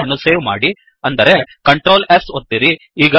file ಅನ್ನು save ಮಾಡಿ ಅಂದರೆ Ctrl S ಒತ್ತಿರಿ